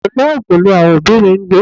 Ìpínlè Ogun làwọn òbí mi ń gbé.